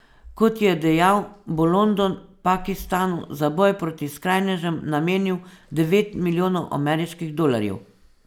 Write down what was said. Kot je dejal, bo London Pakistanu za boj proti skrajnežem namenil devet milijonov ameriških dolarjev.